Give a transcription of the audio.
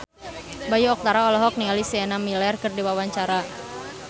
Bayu Octara olohok ningali Sienna Miller keur diwawancara